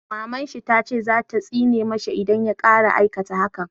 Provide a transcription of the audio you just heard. Maman shi ta ce za ta tsine ma sa idan ya ƙara aikata hakan